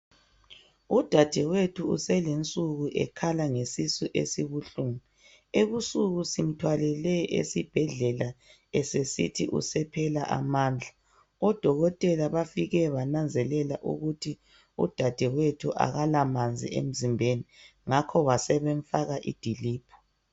Udadewethu uselensuku ekhala ngesisu esibuhlungu. Ebusuku simthwalele esibhedlela esesithi usephela amandla. Odokotela bafike bananzelela ukuthi udadewethu akalamanzi emzimbeni. Ngakho basebemfaka idiliphu.